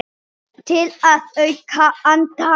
Til að auka andann.